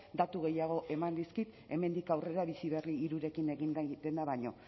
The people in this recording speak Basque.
datu gehiago eman dizkit hemendik aurrera bizi berri iiirekin egin nahi dena baino